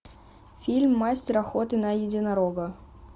фильм мастер охоты на единорога